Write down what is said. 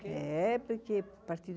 Por causa do quê?